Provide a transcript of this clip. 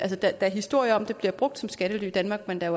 der er historier om at de bliver brugt som skattely i danmark men der